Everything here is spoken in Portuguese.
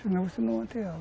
Senão você não mantém ela.